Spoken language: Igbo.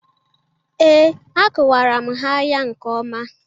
Ee, akụwara m ha ya nke ọma.